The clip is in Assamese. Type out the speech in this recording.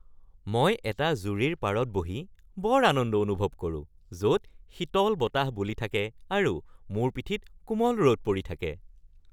মই এটা জুৰিৰ পাৰত বহি বৰ আনন্দ অনুভৱ কৰো য’ত শীতল বতাহ বলি থাকে আৰু মোৰ পিঠিত কোমল ৰ’দ পৰি থাকে।